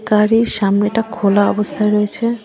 গাড়ির সামনেটা খোলা অবস্থায় রয়েছে।